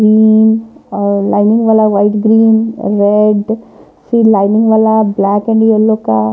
उम्म uh lining वाला white green red फिर lining वाला ब्लैक एंड येलो का--